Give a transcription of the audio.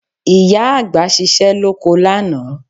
Ìyá àgbà ṣiṣẹ́ lóko lánàá